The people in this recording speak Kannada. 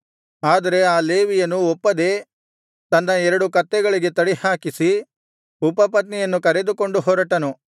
ಆದರೆ ಆ ಲೇವಿಯನು ಒಪ್ಪದೆ ತನ್ನ ಎರಡು ಕತ್ತೆಗಳಿಗೆ ತಡಿಹಾಕಿಸಿ ಉಪಪತ್ನಿಯನ್ನು ಕರೆದುಕೊಂಡು ಹೊರಟನು